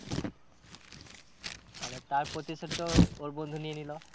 তাহলে তার প্রতিশোধ তো ওর বন্ধু নিয়ে নিলো।